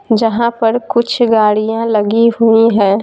जहां पर कुछ गाड़ियां लगी हुई हैं।